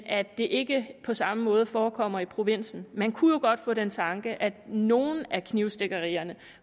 at det ikke på samme måde forekommer i provinsen man kunne jo godt få den tanke at nogle af knivstikkerier